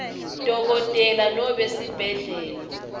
dokotela nobe sibhedlela